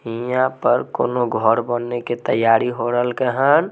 यहाँ पर कोनो घर बने के तैयारी हो रल के हान।